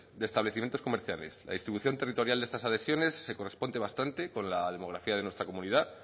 de establecimientos comerciales la distribución territorial de estas adhesiones se corresponde bastante con la demografía de nuestra comunidad